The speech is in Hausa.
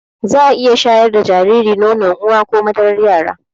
Zaa iya shayar da jariri da nono uwa or madarar yara